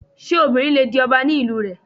Ṣé obìnrin le di ọba ní ìlú rẹ?